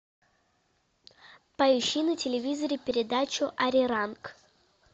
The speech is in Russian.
поищи на телевизоре передачу ариранг